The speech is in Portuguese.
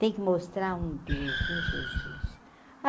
Tem que mostrar um Deus, um Jesus.